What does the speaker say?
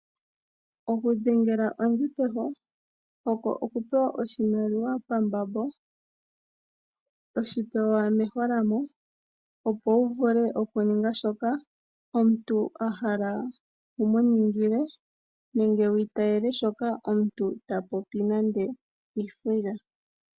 Oku dhengela ondhi peho oko okupewa oshimaliwa pambambo toshipewa meholamo opo wuvule oku ninga shoka omuntu ahala wumu ningile nenge wu itayele shoka omuntu tapopi.